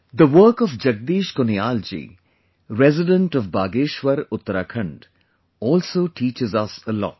the work of Jagdish Kuniyal ji, resident of Bageshwar, Uttarakhand also teaches us a lot